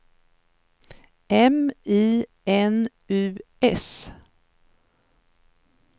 M I N U S